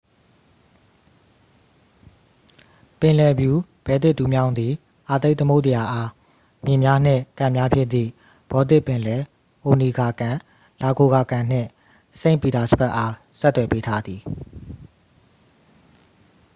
ပင်လယ်ဖြူ-ဘယ်လ်တစ်တူးမြောင်းသည် အာတိတ်သမုဒ္ဒရာအား မြစ်များနှင့် ကန်များဖြစ်သည့် ဘော်တစ်ပင်လယ်၊ အိုနီဂါကန် ၊ လာဂိုဂါ ကန် နှင့် စိန့်ပီတာစဘတ်အား ဆက်သွယ်ပေးထားသည်။